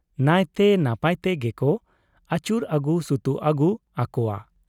ᱱᱟᱹᱭᱛᱮ ᱱᱟᱯᱟᱭᱛᱮ ᱜᱮᱠᱚ ᱟᱹᱭᱩᱨ ᱟᱹᱜᱩ ᱥᱩᱛᱩᱜ ᱟᱹᱜᱩ ᱟᱠᱚᱣᱟ ᱾